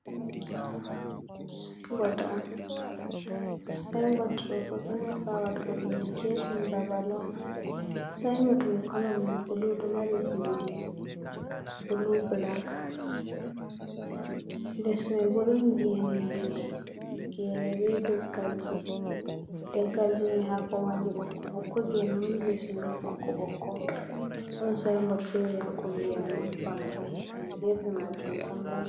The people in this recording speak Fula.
Sayin bot on, sayin bot ɗo bo ɗo nufa waɗugo indiketin babal on, sayin bot mai koolo mum bulu ɗo mari bindi bulu bilak, lesmai bo ɗo geneji gene be leggalji, leggalji mai haako maji ɓokko ɓokko, gene woni lesman haako ɓokko ɓokko, ɗon sayin bot feere ha kombi amma vangai, hedi gefe mai tan vangi.